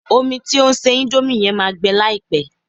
Omi tí o ń se índómì yẹn máa gbẹ láìpẹ́